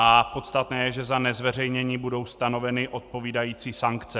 A podstatné je, že za nezveřejnění budou stanoveny odpovídající sankce.